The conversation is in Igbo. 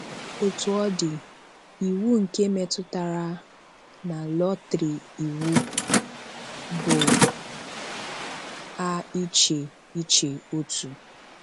Otú ọ dị, iwu nke metụtara na lọtrì iwu bụ à iche iche otu.